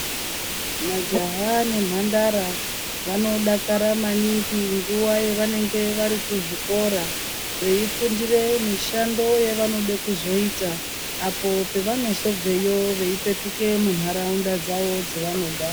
Majaha nemhandara vanodakara maningi nguwa yavanenge vari kuzvikora, veifundire mushando yevanode kuzoita apo pavonozobveyo veipetuke mundau mwavo mwavanogara.